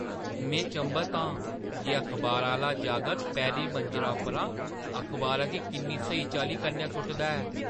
में चंभत आं जे अखबारा आह्‌ला जागत पैह्‌ली मंजला उप्पर अखबारा गी किन्नी स्हेई चाल्ली कन्नै सु'टदा ऐ ।